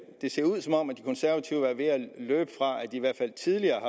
ser ud som om de konservative er ved at løbe fra at i hvert fald tidligere